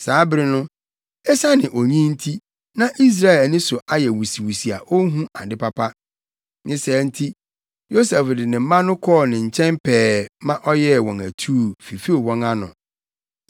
Saa bere no, esiane onyin nti, na Israel ani so ayɛ wusiwusi a onhu ade papa. Ne saa nti, Yosef de ne mma no kɔɔ ne nkyɛn pɛɛ ma ɔyɛɛ wɔn atuu, fifew wɔn ano.